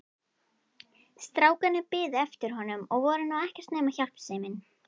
Strákarnir biðu eftir honum og voru nú ekkert nema hjálpsemin.